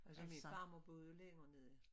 Altås min farmor boede jo længere nede